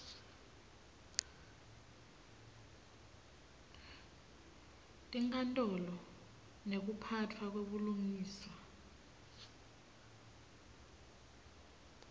tinkantolo nekuphatfwa kwebulungiswa